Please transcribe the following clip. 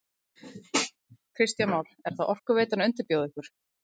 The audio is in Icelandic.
Kristján Már: Er þá Orkuveitan að undirbjóða ykkur?